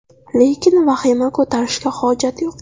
Lekin vahima ko‘tarishga hojat yo‘q.